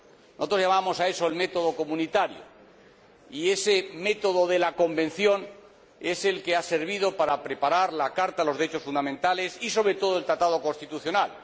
Nosotros llamamos a eso el método comunitario, y ese método de la Convención es el que ha servido para preparar la Carta de los Derechos Fundamentales y, sobre todo, el Tratado constitucional.